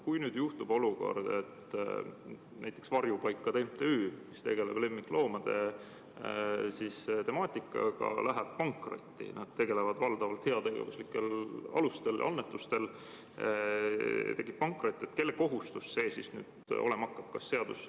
Kui nüüd tekib olukord, et näiteks Varjupaikade MTÜ, kes tegeleb lemmikloomade temaatikaga, läheb pankrotti – nad tegutsevad valdavalt heategevuslikel alustel ja elavad annetustest –, kui tekib pankrot, kelle kohustus see siis olema hakkab?